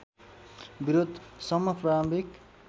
विरोध सम्म प्रारम्भिक